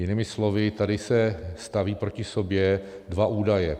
Jinými slovy, tady se staví proti sobě dva údaje.